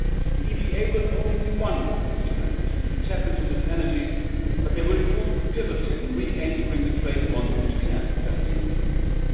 The EPA will only be one instrument to tap into this energy, but it will prove pivotal in re anchoring the trade bonds between Africa and the European Union.